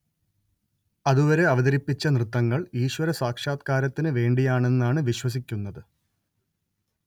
അതുവരെ അവതരിപ്പിച്ച നൃത്തങ്ങൾ ഈശ്വര സാക്ഷാത്കാരത്തിന് വേണ്ടിയാണെന്നാണ് വിശ്വസിക്കുന്നത്